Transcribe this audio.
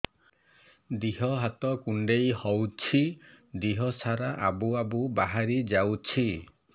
ଦିହ ହାତ କୁଣ୍ଡେଇ ହଉଛି ଦିହ ସାରା ଆବୁ ଆବୁ ବାହାରି ଯାଉଛି